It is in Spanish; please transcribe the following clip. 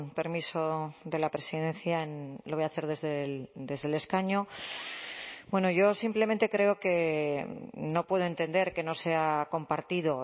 permiso de la presidencia lo voy a hacer desde el escaño bueno yo simplemente creo que no puedo entender que no sea compartido